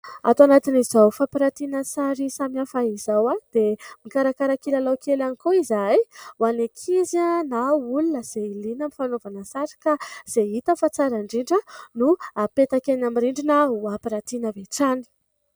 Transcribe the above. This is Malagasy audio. Ato anatin'izao fampirantiana sary samihafa izao dia mikarakara kilalao kely ihany koa izahay ho an'ny ankizy na olona izay liana ny fanaovana sary ka izay hita fa tsara indrindra no hapetaka eny amin'ny rindrina ho ampirantiana avy hatrany.